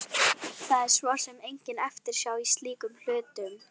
Það er svo sem engin eftirsjá í slíkum hlutum.